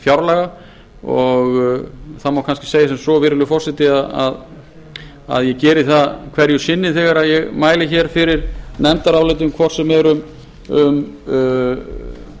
fjárlaga og það má kannski segja sem svo virðulegur forseti að ég geri það hverju sinni þegar ég mæli fyrir nefndarálitum hvort sem er um